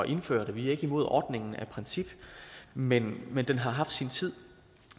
indføre det vi er ikke imod ordningen af princip men men den har haft sin tid